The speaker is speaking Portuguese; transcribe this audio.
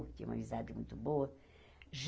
Tinha uma amizade muito boa.